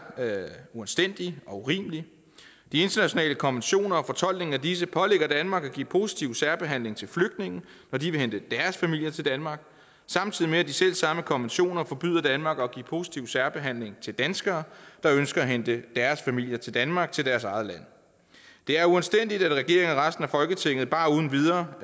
uanstændig og urimelig de internationale konventioner og fortolkningen af disse pålægger danmark at give positiv særbehandling til flygtninge når de vil hente deres familier til danmark samtidig med at de selv samme konventioner forbyder danmark at give positiv særbehandling til danskere der ønsker at hente deres familier til danmark altså til deres eget land det er uanstændigt at regeringen og resten af folketinget bare uden videre